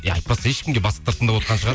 ей айтпасай ешкімге бастықтар тыңдап отырған шығар